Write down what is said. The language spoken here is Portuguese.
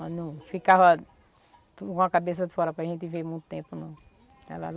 Mas não, ficava com a cabeça fora para gente ver muito tempo não. Ela